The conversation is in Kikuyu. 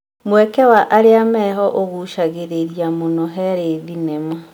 Mweke wa arĩa meho ũgucagĩrĩria mũno harĩ thenema.